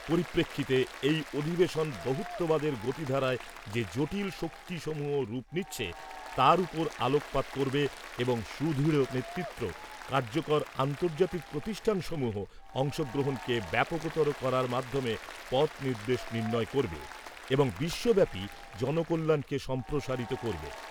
পরিপ্রেক্ষিতে এই অধিবেশন বহুত্ববাদের গতিধারায় যে জটিল শক্তিসমূহ রূপ নিচ্ছে তার উপর আলোকপাত করবে এবং সুদৃঢ় নেতৃত্ব , কার্যকর আন্তর্জাতিক প্রতিষ্ঠানসমূহ , অংশগ্রহণকে ব্যাপকতর করার মাধ্যমে পথ নির্দেশ নির্ণয় করবে এবং বিশ্বব্যাপী জনকল্যাণকে সম্প্রসারিত করবে ।